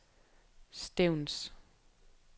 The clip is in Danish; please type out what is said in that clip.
Stevns